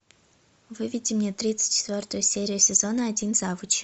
выведи мне тридцать четвертую серию сезона один завуч